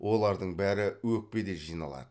олардың бәрі өкпеде жиналады